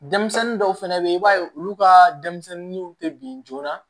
Denmisɛnnin dɔw fɛnɛ be yen i b'a ye olu ka denmisɛnninw tɛ bin joona